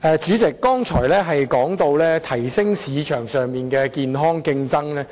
主席，我剛才說到提升市場上的健康競爭。